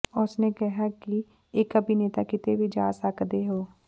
ਉਸ ਨੇ ਕਿਹਾ ਕਿ ਇਕ ਅਭਿਨੇਤਾ ਕਿਤੇ ਵੀ ਜਾ ਸਕਦੇ ਹੋ